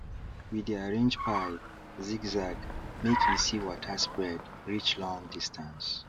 we dey arrange pipe zigzagmake e see water spread reach long distance